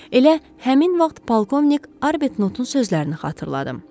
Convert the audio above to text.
Elə həmin vaxt polkovnik Arbetnotun sözlərini xatırladı.